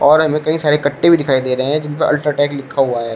और हमें कई सारे कट्टे भी दिखाई दे रहे हैं जिनपर अल्ट्राटेक लिखा हुआ है।